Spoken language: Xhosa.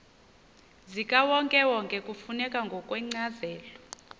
zikawonkewonke kufuneka ngokwencazelo